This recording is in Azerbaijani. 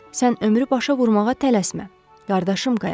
Sən ömrü başa vurmağa tələsmə, qardaşım qayaq.